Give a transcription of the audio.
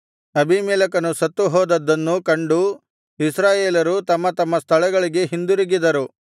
ಅಬೀಮೆಲೆಕನು ಸತ್ತು ಹೋದದ್ದನ್ನು ಕಂಡು ಇಸ್ರಾಯೇಲರು ತಮ್ಮ ತಮ್ಮ ಸ್ಥಳಗಳಿಗೆ ಹಿಂದಿರುಗಿದರು